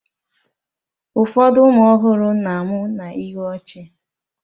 Ụfọdụ ụmụ ọhụrụ na-amụ na ihu ọchị